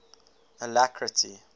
alacrity